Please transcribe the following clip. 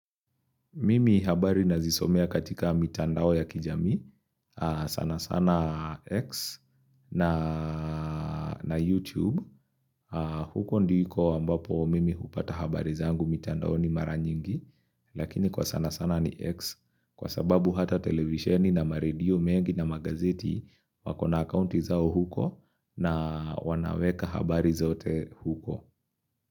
Mimi habari nazisomea katika mitandao ya kijamii, sana sana X na YouTube, huko ndiko ambapo mimi hupata habari zangu mitandaoni maranyingi, lakini kwa sana sana ni X kwa sababu hata televisheni na maredio mengi na magazeti wako na akaunti zao huko na wanaweka habari zote huko.